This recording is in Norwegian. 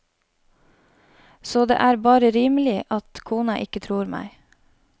Så det er bare rimelig at kona ikke tror meg.